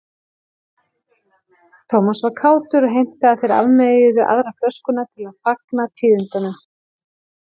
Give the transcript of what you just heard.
Thomas var kátur og heimtaði að þeir afmeyjuðu aðra flöskuna til að fagna tíðindunum.